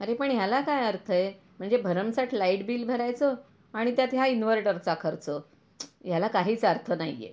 अरे पण ह्याला काय अर्थ आहे म्हणजे भरमसाट लाईट बिल भरायचं आणि त्यात ह्या इन्व्हर्टर चा खर्च, याला काहीच अर्थ नाही आहे.